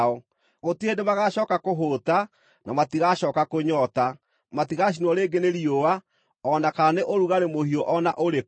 Gũtirĩ hĩndĩ magaacooka kũhũũta; na matigacooka kũnyoota. Matigacinwo rĩngĩ nĩ riũa, o na kana nĩ ũrugarĩ mũhiũ o na ũrĩkũ.